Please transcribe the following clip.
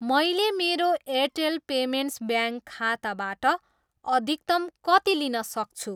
मैले मेरो Airtel payments bank खाताबाट अधिकतम कति लिन सक्छु?